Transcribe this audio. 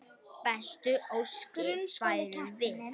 Bestu óskir færum við.